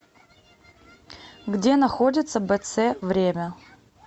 где находится бц время